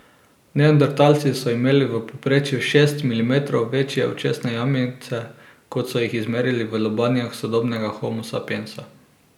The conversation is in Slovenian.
Neandertalci so imeli v povprečju šest milimetrov večje očesne jamice kot so jih izmerili v lobanjah sodobnega homo sapiensa.